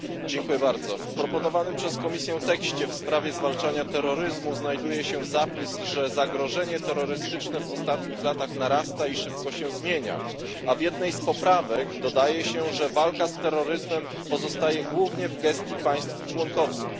Panie Przewodniczący! W proponowanym przez Komisję tekście w sprawie zwalczania terroryzmu znajduje się zapis, że zagrożenie terrorystyczne w ostatnich latach narasta i szybko się zmienia, a w jednej z poprawek dodaje się, że walka z terroryzmem pozostaje głównie w gestii państw członkowskich.